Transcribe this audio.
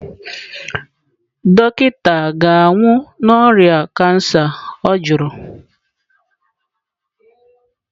"Dọkịta ga-anwụ n'ọrịa cancer? Ọ jụrụ"